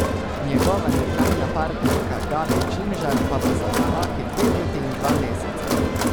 Njegova nekdanja partnerka Gabi Čimžar pa bo za zapahi dve leti in dva meseca.